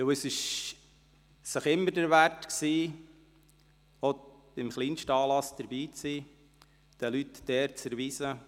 Es lohnte sich immer, auch beim kleinsten Anlass dabei zu sein und den Leuten die Ehre zu erweisen.